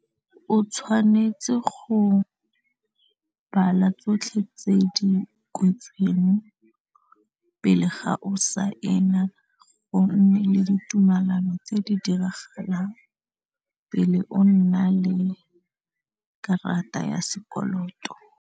O tshwanetse go bala tsotlhe tse di kwetsweng pele ga o saena go nne le ditumelano tse di diragalang pele o nna le karata ya sekoloto.